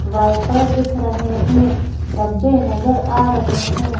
Wiper दिख रहे हैं डब्बे नजर आ रहे हैं।